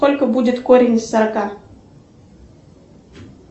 сколько будет корень из сорока